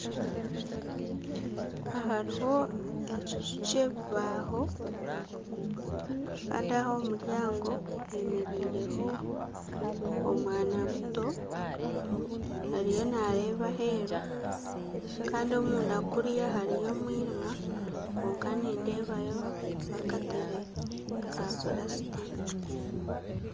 Aha hariho ekiju kyebibaaho kandi aha omu muryango hemereireho omwana muto ariyo nareeba aheeru komunda kuriya hariyo omwirima kwonka nindeebayo akatebe ka purasitika